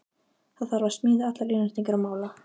Það þarf að smíða allar innréttingar og mála.